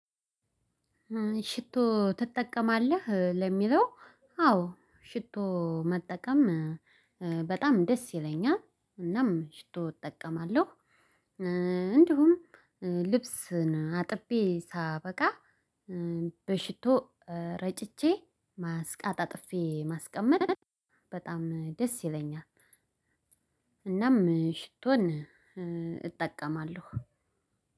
ሽቶ ትጠቀማለህ? ለሚለው አዎ። ሽቶ መጠቀም በጣም ደስ ይለኛል እናም ሽቶ እጠቀማለሁ። እንዲሁም ልብስን አጥቤ ሳበቃ በሽቶ ረጭቼ ማስ አጣጥፌ ማስቀመጥ በጣም ደስ ይለኛል። እናም ሽቶን እጠቀማለሁ።